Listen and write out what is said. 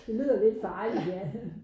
Det lyder lidt farligt ja